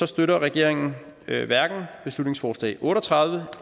støtter regeringen hverken beslutningsforslag otte og tredive